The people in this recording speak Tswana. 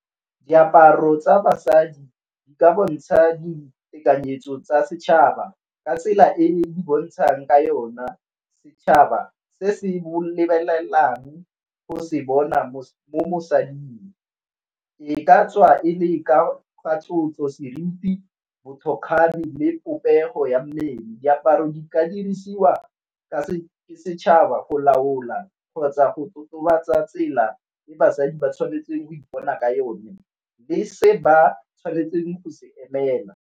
Diaparo tsa basadi di ka bontsha ditekanyetso tsa setšhaba ka tsela e di bontshang ka yona, setšhaba se se bolelelang go se bona mo mosading e ka tswa e le ka tlotlo, seriti, bothokgale le popego ya mmele. Diaparo di ka dirisiwa ke setšhaba go laola kgotsa go totobatsa tsela e basadi ba tshwanetseng ipona ka yone, le se ba tshwanetseng go se emela.